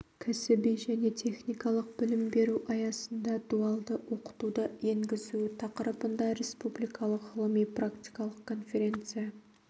кәсіби және техникалық білім беру аясында дуалды оқытуды енгізу тақырыбында республикалық ғылыми-практикалық конференция